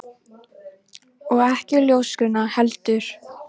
Og ekki ljóskuna heldur.